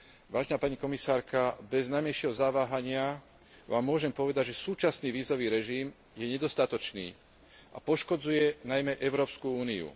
Vážená pani komisárka, bez najmenšieho zaváhania vám môžem povedať, že súčasný vízový režim je nedostatočný a poškodzuje najmä Európsku úniu.